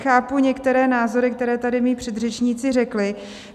Chápu některé názory, které tady moji předřečníci řekli.